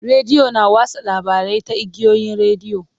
Rediyo na watsa labarai ta igiyoyin rediyo.